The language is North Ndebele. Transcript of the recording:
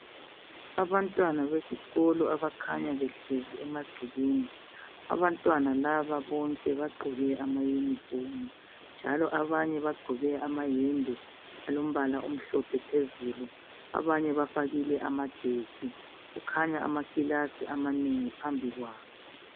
Abantwana besikolo abakhanyabehleziemagcekeni. Abantwana laba bonke bagqoke ama yunifomu njalo abanye bagqoke amayembe alombala omhlophe phezulu. Abanye bafakile amajesi kukhanya amakilasi amanengi phambi kwabo.